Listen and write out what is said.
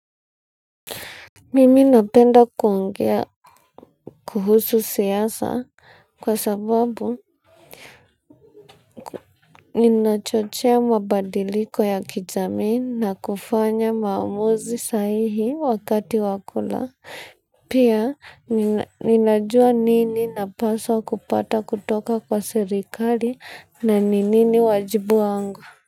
Mimi napenda kuongea kuhusu siasa kwa sababu linachochea mabadiliko ya kijamii na kufanya maamuzi sahihi wakati wa kura. Pia ninajua nini napaswa kupata kutoka kwa serikali na ni nini wajibu wangu. Kwa hivyo.